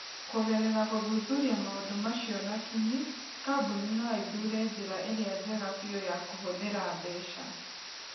Kũgerera gũthuthuria maũndũ macio na kinyi, kambuni no ithure njĩra ĩrĩa njega biũ ya kũhũthĩra mbeca.